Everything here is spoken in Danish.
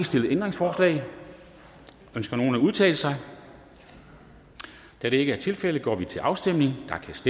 stillet ændringsforslag ønsker nogen at udtale sig da det ikke er tilfældet går vi til afstemning